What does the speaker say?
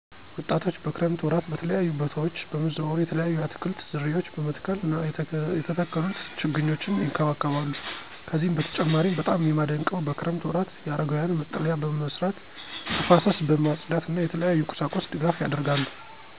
ወጣቶች በክረምት ወራት በተለያዩ በታወች በመዘዋወር የተለያዩ የአትክልት ዝርያዎች በመትከል እና የተተከሉት ችግኞች ይንከባከባሉ። ከዚህ በተጨማሪም በጣም የማደንቀው በክረምት ወራት የአረጋውያን መጠለያ በመስራት ተፋሰስ በማፅዳት እና የተለያዩ ቁሳቁስ ድጋፍ ያደርጋሉ።